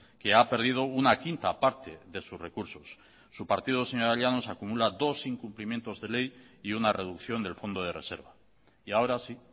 que ha perdido una quinta parte de sus recursos su partido señora llanos acumula dos incumplimiento de ley y una reducción del fondo de reserva y ahora sí